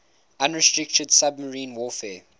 unrestricted submarine warfare